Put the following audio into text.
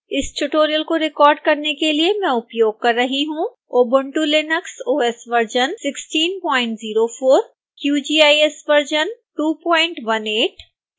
इस tutorial को record करने के लिए मैं उपयोग कर रही हूँ